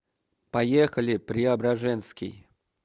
поехали преображенский